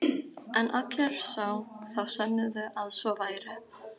En allir er sá, þá sönnuðu að svo væri.